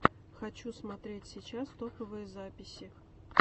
хочу смотреть сейчас топовые записи